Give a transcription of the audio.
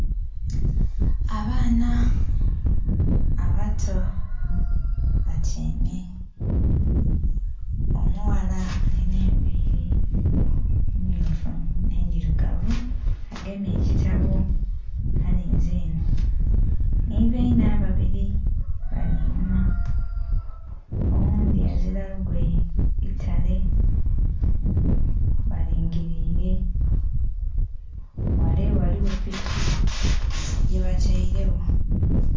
Abaana abato batyaime. Omughala alina envili mmyufu nh'endhilugavu. Agemye ekitabo alinze enho. Nhi bainhe ababili bali inhuma, oghundhi azila lugoye itale, balingiliile. Ghale ghaligho piki yebatailewo.